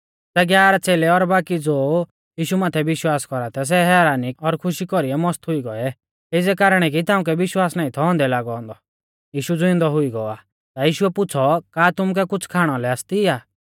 सै ग्यारह च़ेलै और बाकी ज़ो यीशु माथै विश्वास कौरा थै सै हैरानी और खुशी कौरीऐ मस्त हुई गौऐ एज़ै कारणै की तिउंकै विश्वास नाईं थौ औन्दै लागौ औन्दौ यीशु ज़िउंदौ हुई गौ आ ता यीशुऐ पुछ़ौ का तुमुकै कुछ़ खाणा लै आसती आ